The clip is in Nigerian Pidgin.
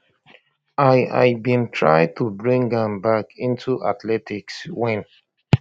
i i bin try to bring am back into athletics wen